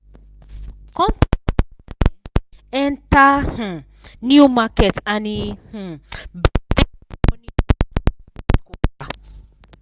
company waka um enter um new market and e um bring serious money growth this last quarter